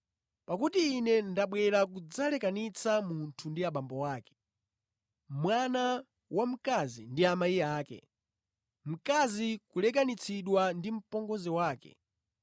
Pakuti Ine ndabwera kudzalekanitsa “ ‘Munthu ndi abambo ake, mwana wamkazi ndi amayi ake, mtengwa kulekanitsidwa ndi apongozi ake,